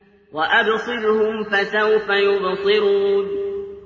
وَأَبْصِرْهُمْ فَسَوْفَ يُبْصِرُونَ